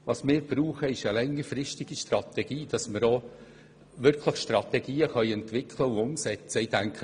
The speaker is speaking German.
Wir brauchen einen längerfristigen Horizont von etwa 10 Jahren, damit wir auch wirklich Strategien entwickeln und umsetzen können.